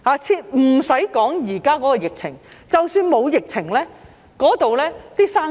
不用說現時的疫情，即使沒有疫情，那裏也難以做生意。